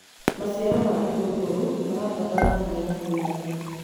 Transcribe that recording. maciaro ma itunguru marabatara mbura ya kũigana